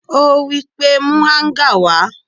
Ó wípé: Mú Áńgà wá!